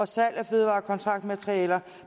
salg af fødevarekontaktmaterialer